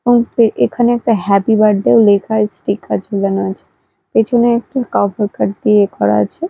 এখানে একটা happy birthday লেখা স্টিকার ঝোলানো আছে পেছনে একটি কার্ড দিয়ে এ করা আছে।